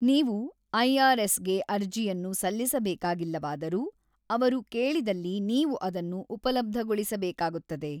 ನೀವು ಐ.ಆರ್.ಎಸ್.ಗೆ ಅರ್ಜಿಯನ್ನು ಸಲ್ಲಿಸಬೇಕಾಗಿಲ್ಲವಾದರೂ, ಅವರು ಕೇಳಿದಲ್ಲಿ ನೀವು ಅದನ್ನು ಉಪಲಬ್ಧಗೊಳಿಸಬೇಕಾಗುತ್ತದೆ.